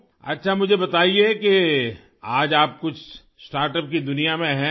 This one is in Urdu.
اچھا مجھے بتایئے کہ آج آپ اسٹارٹ اپ کی دنیا میں ہیں